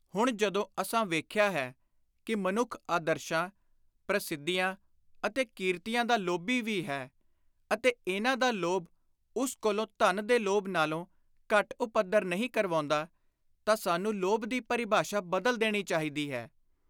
” ਹੁਣ ਜਦੋਂ ਅਸਾਂ ਵੇਖਿਆ ਹੈ ਕਿ ਮਨੁੱਖ ਆਦਰਸ਼ਾਂ, ਪ੍ਰਸਿੱਧੀਆਂ ਅਤੇ ਕੀਰਤੀਆਂ ਦਾ ਲੋਭੀ ਵੀ ਹੈ ਅਤੇ ਇਨ੍ਹਾਂ ਦਾ ਲੋਭ ਉਸ ਕੋਲੋਂ ਧਨ ਦੇ ਲੋਭ ਨਾਲੋਂ ਘੱਟ ਉਪੱਦਰ ਨਹੀਂ ਕਰਵਾਉਂਦਾ ਤਾਂ ਸਾਨੂੰ ਲੋਭ ਦੀ ਪਰਿਭਾਸ਼ਾ ਬਦਲ ਦੇਣੀ ਚਾਹੀਦੀ ਹੈ।